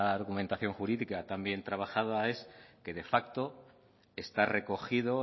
argumentación jurídica tan bien trabajada es que de facto está recogido